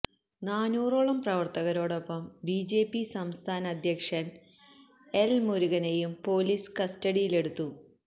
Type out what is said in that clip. നാനൂറോളം പ്രവര്ത്തകരോടൊപ്പം ബിജെപി സംസ്ഥാന അധ്യക്ഷന് എല് മുരുകനെയും പൊലീസ് കസ്റ്റഡിയിലെടുത്തു